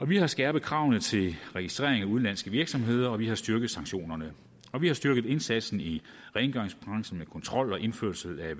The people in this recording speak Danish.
vi har skærpet kravene til registrering af udenlandske virksomheder og vi har styrket sanktionerne vi har styrket indsatsen i rengøringsbranchen med kontrol og indførelsen af